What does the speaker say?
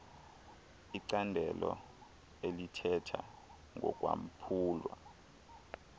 icandelo elithetha ngokwaphulwa